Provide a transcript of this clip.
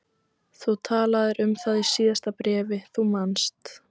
Þú talaðir um það í síðasta bréfi, þú manst.